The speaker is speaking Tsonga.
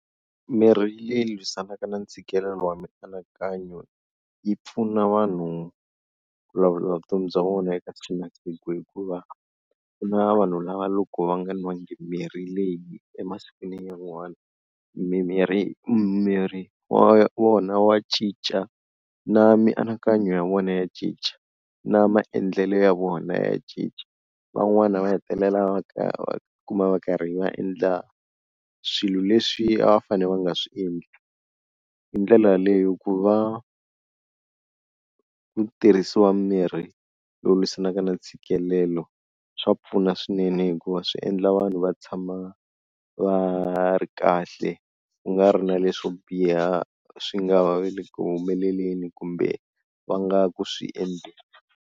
Mirhi leyi lwisanaka na ntshikelelo wa mianakanyo yi pfuna vanhu ku lawula vutomi bya vona eka siku na siku hikuva ku na vanhu lava loko va nga nwanga mirhi leyi emasikwini yan'wana, mimirhi mimiri wa vona wa cinca na mianakanyo ya vona ya cinca, na maendlelo ya vona ya cinca van'wana va hetelela va ka kuma va karhi va endla swilo leswi a va fane va nga swi endli, hi ndlela yaleyo ku va ku tirhisiwa mirhi lowu lwisanaka na ntshikelelo swa pfuna swinene hikuva swi endla vanhu va tshama va ri kahle, ku nga ri na leswo biha swi nga va le ku humeleleni kumbe va nga ku swi endleni.